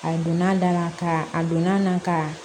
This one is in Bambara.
A donna a da la ka a donna n na ka